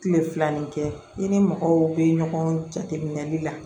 Kile filanan ni kɛ i ni mɔgɔw bɛ ɲɔgɔn jateminɛ